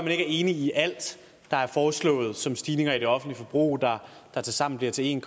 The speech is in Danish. er enig i alt der er foreslået som stigninger i det offentlige forbrug der tilsammen bliver til en